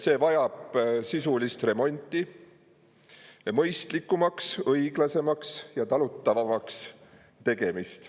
See vajab sisulist remonti, mõistlikumaks, õiglasemaks ja talutavamaks tegemist.